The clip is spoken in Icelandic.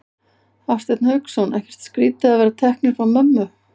Hafsteinn Hauksson: Ekkert skrítið að vera teknir frá mömmu?